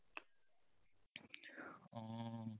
অ